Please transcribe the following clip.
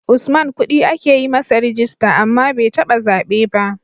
Usman kudi ake yi masa rijista, amma bai taba zabe ba.